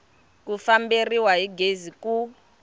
ku famberiwa hi gezi ku